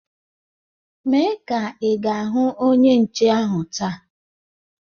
Mee kaa ị ga-ahụ Onye nche ahu taa!